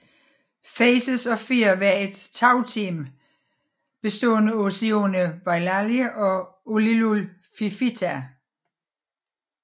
Faces of Fear var et tagteam bestående af Sione Vailahi og Uliuli Fifita